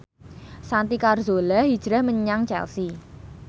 Santi Carzola hijrah menyang Chelsea